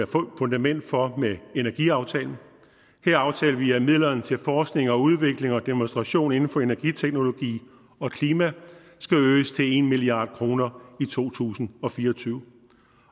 fundament for med energiaftalen her aftalte vi at midlerne til forskning og udvikling og demonstration inden for energiteknologi og klima skal øges til en milliard kroner i to tusind og fire og tyve